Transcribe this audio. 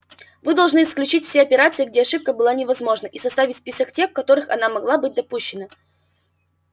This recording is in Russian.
вы должны исключить все операции где ошибка была невозможна и составить список тех в которых она могла быть допущена